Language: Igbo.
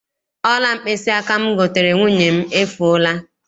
Ọla mkpịsịaka m goteere nwunye m, efuola.